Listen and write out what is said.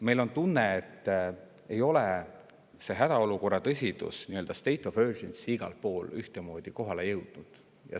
Meil on tunne, et selle hädaolukorra tõsidus, nii-öelda state of emergency ei ole igal pool ühtemoodi kohale jõudnud.